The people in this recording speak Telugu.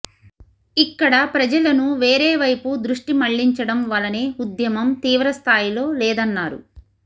ఇక్కడ ప్రజలను వేరే వైపు దృష్టి మళ్లించడం వలనే ఉద్యమం తీవ్ర స్థాయిలో లేదన్నారు